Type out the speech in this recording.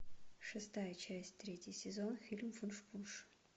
шестая часть третий сезон фильм вуншпунш